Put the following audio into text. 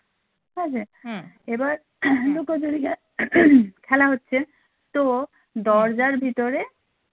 এবার লুকোচুরিটা খেলা হচ্ছে তোর দরজার ভিতরে